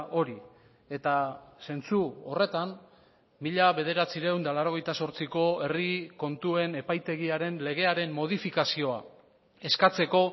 hori eta zentzu horretan mila bederatziehun eta laurogeita zortziko herri kontuen epaitegiaren legearen modifikazioa eskatzeko